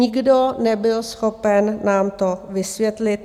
Nikdo nebyl schopen nám to vysvětlit.